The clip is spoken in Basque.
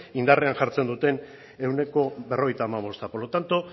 indarrean jartzen duten ehuneko berrogeita hamabosta por lo tanto